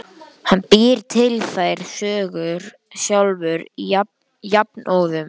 Hann býr til þær sögur sjálfur jafnóðum.